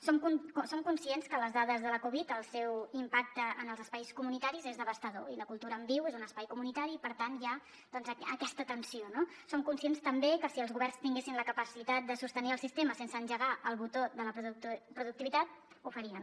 som conscients que les dades de la covid el seu impacte en els espais comunitaris és devastador i la cultura en viu és un espai comunitari i per tant hi ha doncs aquesta tensió no som conscients també que si els governs tinguessin la capacitat de sostenir el sistema sense engegar el botó de la productivitat ho farien